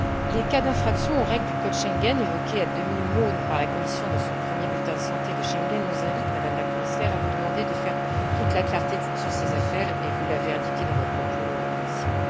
Les cas d'infractions aux règles du code Schengen, évoqués à demi mot par la Commission dans son premier bulletin de santé de Schengen, nous invitent, Madame la Commissaire, à vous demander de faire toute la clarté sur ces affaires, et vous l'avez indiqué dans votre propos initial.